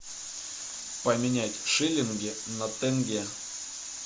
поменять шиллинги на тенге